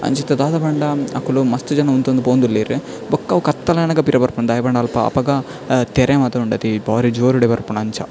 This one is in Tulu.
ಅಂಚ ಇತ್ತೆ ದಾದ ಪಂಡ ಅಕುಲು ಮಸ್ತ್ ಜನ ಉಂತೊಂದು ಪೋವೊಂದುಲ್ಲೆರ್ ಬೊಕ್ಕ ಅವು ಕತ್ತಲೆ ಆನಗ ಪಿರ ಬರ್ಪುಂಡು ದಾಯೆ ಪಂಡ ಅಲ್ಪ ಅಪಗ ತೆರೆ ಮಾತ ಉಂಡತೆ ಬಾರಿ ಜೋರುಡೆ ಬರ್ಪುಂಡು ಅಂಚ.